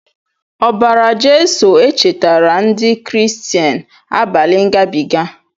Obara Jesu echetara ndi kristian abali ngabiga.